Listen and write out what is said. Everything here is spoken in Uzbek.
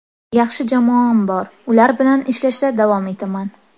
Yaxshi jamoam bor, ular bilan ishlashda davom etaman.